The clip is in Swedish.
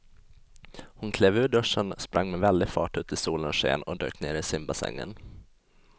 Hon klev ur duschen, sprang med väldig fart ut i solens sken och dök ner i simbassängen.